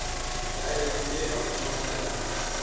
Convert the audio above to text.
ya heno e haufinyana ya